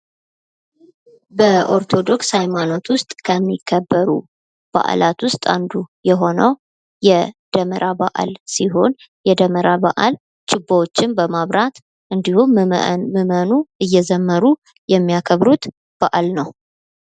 በኦርቶዶክስ ሃይማኖት ውስጥ የሚከበሩ በዓላት ውስጥ አንዱ የሆነው የደመራ በዓል ሲሆን የደመራ በአል ችቦዎችን በማብራት እንዲሁም ምእመኑ እየዘመሩ የሚያከብሩት በዓል ነው ።